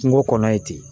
Kungo kɔnɔ ye ten